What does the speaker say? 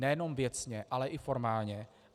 Nejenom věcně, ale i formálně.